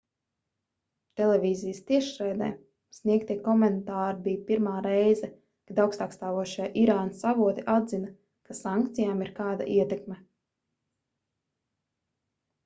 televīzijas tiešraidē sniegtie komentāri bija pirmā reize kad augstākstāvošie irānas avoti atzina ka sankcijām ir kāda ietekme